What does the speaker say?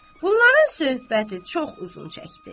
Bunların söhbəti çox uzun çəkdi.